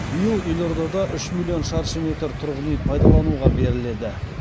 биыл елордада үш миллион шаршы метр тұрғын үй пайдалануға беріледі